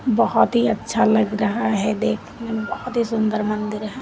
बहुत ही अच्छा लग रहा है देखने में बहुत ही सुंदर मंदिर है।